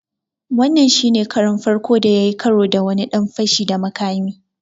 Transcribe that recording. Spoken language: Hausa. Wannan shi ne karon farko da ya yi karo da wani ɗan fashi da makami.